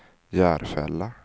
Järfälla